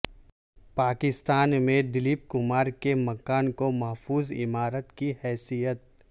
پاکستان میں دلیپ کمار کے مکان کو محفوظ عمارت کی حیثیت